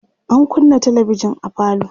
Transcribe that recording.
an kunnâ talabijan a falo